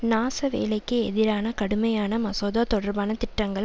நாசவேலைக்கு எதிரான கடுமையான மசோதா தொடர்பான திட்டங்கள்